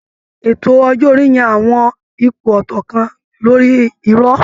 Ètò ọjọ́ orí ń yan àwọn ipò ọ̀tọ̀ kan lórí irọ̀